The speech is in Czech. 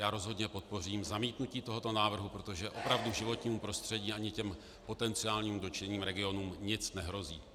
Já rozhodně podpořím zamítnutí tohoto návrhu, protože opravdu životnímu prostředí ani těm potenciálně dotčeným regionům nic nehrozí.